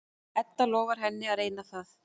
Edda lofar henni að reyna það.